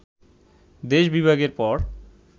দেশ বিভাগের পর